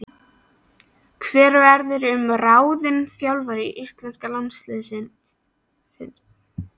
Hver verður ráðinn þjálfari íslenska landsliðsins?